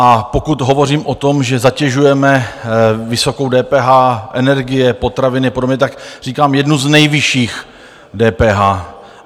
A pokud hovořím o tom, že zatěžujeme vysokou DPH energie, potraviny a podobně, tak říkám jednu z nejvyšších DPH.